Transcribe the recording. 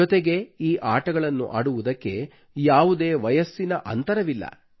ಜೊತೆಗೆ ಈ ಆಟಗಳನ್ನು ಆಡುವುದಕ್ಕೆ ಯಾವುದೇ ವಯಸ್ಸಿನ ಅಂತರವಿಲ್ಲ